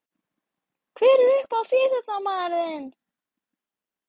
Hver er uppáhalds ÍÞRÓTTAMAÐURINN þinn?